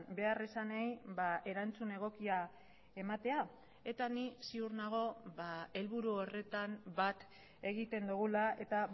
beharrizanei erantzun egokia ematea eta ni ziur nago helburu horretan bat egiten dugula eta